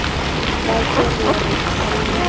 ba ke re re qhalle